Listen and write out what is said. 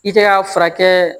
I tɛ ka furakɛ